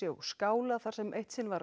og skála þar sem eitt sinn var